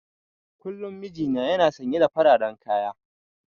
Kullum mijina yana sanye da fararen kaya.